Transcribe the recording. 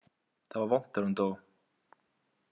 Það var vont þegar hún dó.